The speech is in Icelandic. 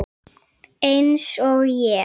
Eins og ég?